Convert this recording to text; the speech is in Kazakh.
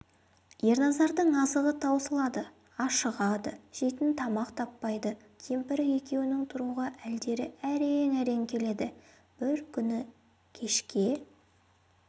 ерназардың азығы таусылады ашығады жейтін тамақ таппайды кемпірі екеуінің тұруға әлдері әрең-әрең келеді бір күні кешке